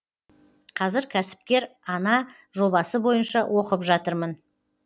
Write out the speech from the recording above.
қазір кәсіпкер ана жобасы бойынша оқып жатырмын